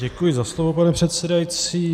Děkuji za slovo, pane předsedající.